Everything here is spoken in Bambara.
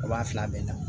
O b'a fila bɛɛ na